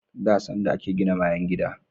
Da, da sanda a ke gina bayan gida